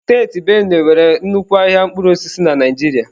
Steeti benue nwere nnukwu ahịa mkpụrụ osisi na Naịjirịa.